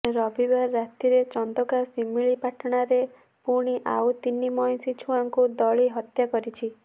ରବିବାର ରାତିରେ ଚନ୍ଦକା ଶିମିଳି ପାଟଣାରେ ପୁଣି ଆଉ ତିନି ମଇଁଷି ଛୁଆଙ୍କୁ ଦଳି ହତ୍ୟା କରିଛି